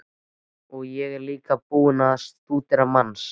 Og svo er ég líka búinn að stúdera manns